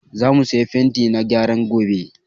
Za mu saya fenti na gyaran gobe